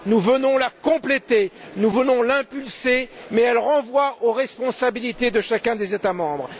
Nous venons la compléter, nous venons l'impulser, mais elle renvoie aux responsabilités de chacun des États membres.